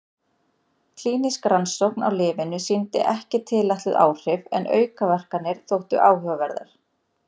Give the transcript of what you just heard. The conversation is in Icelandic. Klínísk rannsókn á lyfinu sýndi ekki tilætluð áhrif en aukaverkanirnar þóttu áhugaverðar.